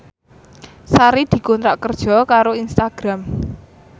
Sari dikontrak kerja karo Instagram